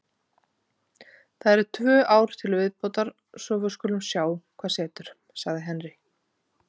Það eru tvö ár til viðbótar svo við skulum sjá hvað setur, sagði Henry.